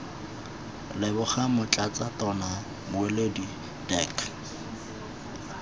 leboga motlatsa tona mmueledi dirk